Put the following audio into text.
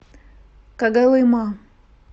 когалыма